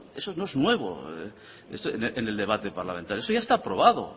eso no es nuevo en el debate parlamentario eso ya está aprobado